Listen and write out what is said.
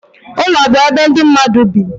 Ụlọ bụ ebe ndị mmadụ bi.